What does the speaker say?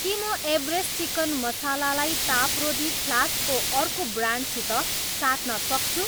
के म Everest chicken masala लाई तापरोधी फ्लास्क को अर्को ब्रान्डसित साट्न सक्छु?